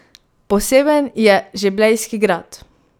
Poseben je že Blejski grad!